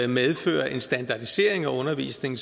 medfører en standardisering af undervisningen